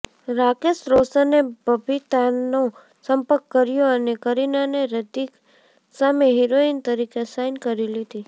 રાકેશ રોશને બબીતાનો સંપર્ક કર્યો અને કરીનાને હૃતિક સામે હિરોઇન તરીકે સાઇન કરી લીધી